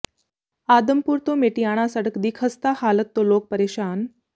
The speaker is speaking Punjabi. ਆਦਮਪੁਰ ਤੋਂ ਮੇਟੀਆਣਾ ਸੜਕ ਦੀ ਖ਼ਸਤਾ ਹਾਲਤ ਤੋਂ ਲੋਕ ਪਰੇਸ਼ਾਨ